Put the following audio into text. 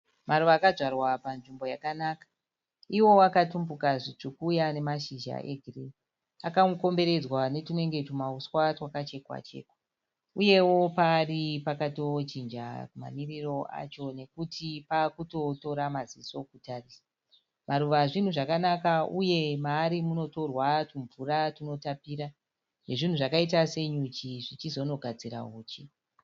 Maruva akadzvarwa panzvimbo yakanaka. Iwo akatumbuka zvitsvuku uye ane mashizha egirini. Akakomberedzwa netwunenge twumauswa twakachekwa-chekwa. Uyewo paari pakatojinja mamiriro acho nokuti pakutotora maziso kutarisa. Maruva zvinhu zvakanaka uye maari munotorwa twumvura twunotapira nezvinhu zvakaita senyuchi zvichizonogadzira huchi.